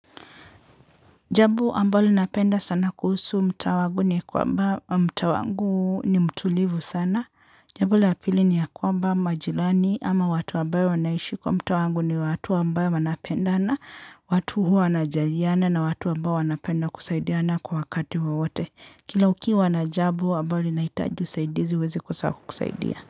Jambo ambalo napenda sana kuhusu mtaa wangu ni kwamba mtaa wangu ni mtulivu sana. Jambo la pili ni ya kwamba majirani ama watu ambayo wanaishi kwa mtaa wangu ni watu ambao wanapendana watu huwa wanajaliana na watu ambao wanapenda kusaidiana kwa wakati wawote. Kila ukiwa na jambo ambalo linahitaji usaidizi huwezi kukosa wa kukusaidia.